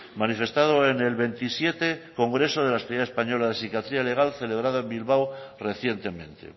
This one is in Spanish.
manifestado en el veintisiete congreso de la sociedad española de psiquiatría legal celebrado en bilbao recientemente